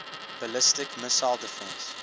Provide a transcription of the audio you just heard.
ballistic missile defense